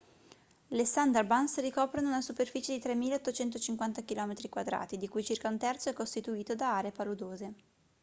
le sundarbans ricoprono una superficie di 3.850 km² di cui circa un terzo è costituito da aree paludose